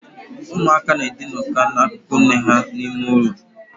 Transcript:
Umu aka n edinoka n’akükü nne ha n' ime ulo